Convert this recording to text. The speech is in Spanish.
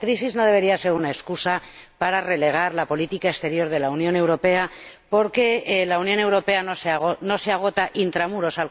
La crisis no debería ser una excusa para relegar la política exterior de la Unión Europea, porque la Unión Europea no se agota intramuros